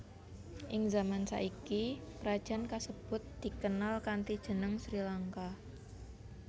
Ing zaman saiki krajan kasebut dikenal kanthi jeneng Sri Lanka